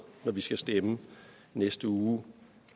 at vi skal stemme i næste uge